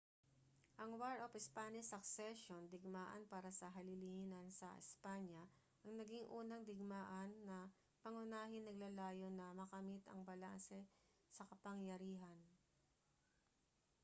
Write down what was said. ang war of spanish succession digmaan para sa halilinan sa espanya ang naging unang digmaan na pangunahing naglalayon na makamit ang balanse sa kapangyarihan